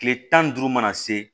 Kile tan ni duuru mana se